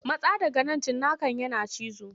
Matsa daga nan cinnakan yana cizo.